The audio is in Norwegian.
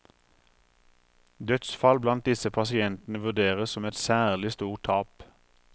Dødsfall blant disse pasientene vurderes som et særlig stort tap.